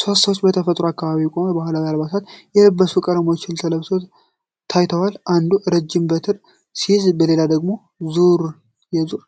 ሶስት ሰዎች በተፈጥሮ አካባቢ ቆመው በባህላዊ አልባሳቸው የተለያዩ ቀለሞችን ተለብጠው ታይተዋል። አንዱ የረጅም በትር ሲይዝ ሌላው ደግሞ የዙር ጋራ